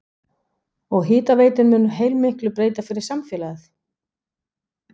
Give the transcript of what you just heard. Og hitaveitan mun heilmiklu breyta fyrir samfélagið?